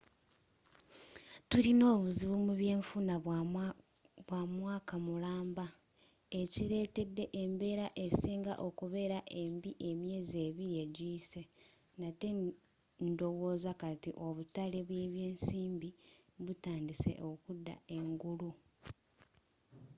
tulina obuzibu mubyenfuna bwamwaaka mulamba ekiretedde embeera esinga okubeera embi emyeezi ebiri ejiyise nate ndowooza kati obutale bwebyensimbi butandise okuda engulu.